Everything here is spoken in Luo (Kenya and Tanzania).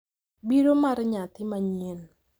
Biro mar nyathi manyien,